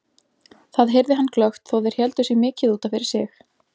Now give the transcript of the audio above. Það heyrði hann glöggt þó þeir héldu sig mikið út af fyrir sig.